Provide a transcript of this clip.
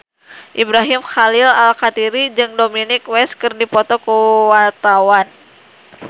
Ibrahim Khalil Alkatiri jeung Dominic West keur dipoto ku wartawan